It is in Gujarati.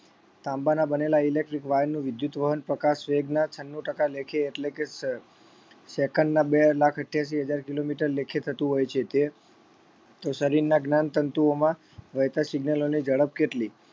તાંબાના બનેલા electric wire નું વિદ્યુત વહન પ્રકાશ વેગના છન્નું ટકા લેખે એટલે કે સ second ના બે લાખ અઠ્યાસી હજાર kilometer લેખે થતું હોય છે તે શરીરના જ્ઞાનતંતુઓમાં વહેતા signal અને ઝડપ કેટલી